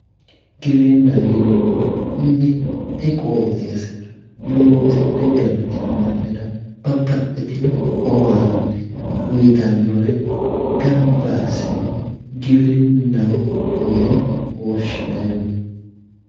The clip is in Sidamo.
Giwirinnaho yineemmohu mitte qooxeessira loosidhe galtino mannira babbaxxitino owaante uyitannore gamba assine giwirinnaho yine woshshineemmo.